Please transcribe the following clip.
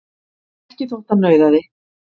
Ekki þótt hann nauðaði.